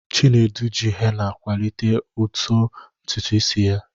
Chinedu ji hena kwalite uto ntutu isi ya.